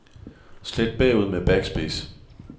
Slet bagud med backspace.